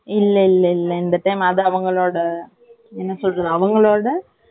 இல்லை இல்லை இல்லை இந்த time இது அவங்களோட என்ன சொல்லுறது அவங்களோட